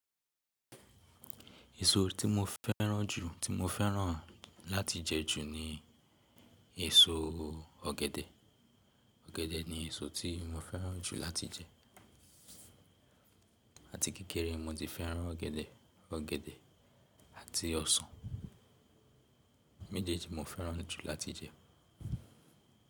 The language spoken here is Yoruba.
Èso tí mo fẹ́ràn jù, tí mo fẹ́ràn láti jẹ ju ni èso ọ̀gẹ̀dẹ̀. Ọ̀gẹ̀dẹ̀ ni èso tí mo fẹ́ràn jù láti jẹ. Àti kékeré mo ti fẹ́ràn ọ̀gẹ̀dẹ̀, ọ̀gẹ̀dẹ̀ àti ọsàn méjèèjì mo fẹ́ràn jù láti jẹ.